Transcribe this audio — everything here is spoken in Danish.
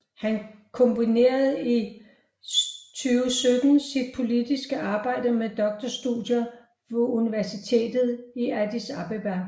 Han kombinerede i 2017 sit politiske arbejde med doktorstudier ved Universitetet i Addis Abeba